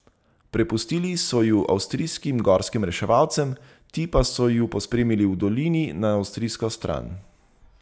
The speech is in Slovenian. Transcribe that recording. Prepustili so ju avstrijskim gorskim reševalcem, ti pa so ju pospremili v dolini na avstrijsko stran.